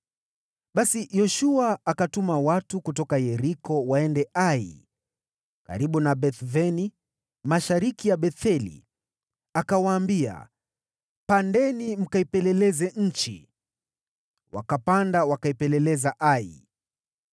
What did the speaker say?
Basi Yoshua akatuma watu kutoka Yeriko waende Ai, karibu na Beth-Aveni mashariki ya Betheli, akawaambia, “Pandeni mkaipeleleze nchi.” Basi wale watu wakapanda wakaipeleleza Ai.